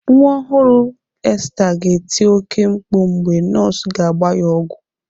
Nwa ọhụrụ Esther ga-eti oke mkpu mgbe nọs ga-agba ya ọgwọ.